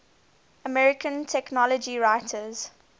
american technology writers